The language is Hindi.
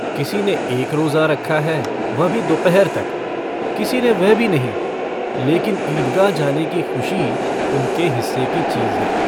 किसी ने एक रोज़ा रखा है, वह भी दोपहर तक। किसी ने वह भी नहीं। लेकिन ईदगाह जाने की खुशी उनके हिस्से की चीज़ है।